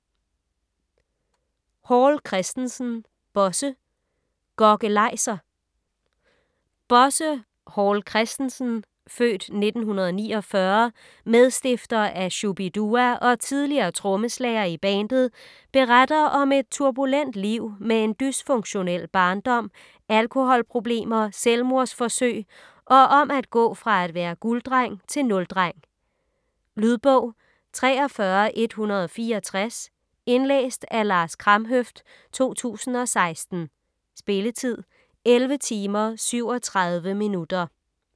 Hall Christensen, Bosse: Gokkelajser Bosse Hall Christensen (f. 1949), medstifter af Shu-bi-dua og tidligere trommeslager i bandet, beretter om et turbulent liv med en dysfunktionel barndom, alkoholproblemer, selvmordsforsøg og om at gå fra at være gulddreng til nuldreng. Lydbog 43165 Indlæst af Lars Kramhøft, 2016. Spilletid: 11 timer, 37 minutter.